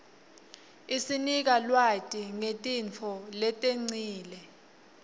isinika lwati ngetintfo letengcile